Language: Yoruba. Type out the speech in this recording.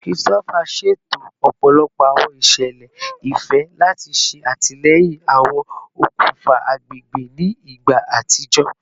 Christopher ṣeto ọpọlọpọ awọn iṣẹlẹ ifẹ lati ṣe atilẹyin awọn okunfa agbegbe ni igba atijọ